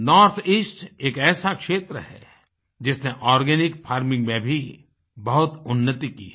north east एक ऐसा क्षेत्र है जिसने आर्गेनिक फार्मिंग में भी बहुत उन्नति की है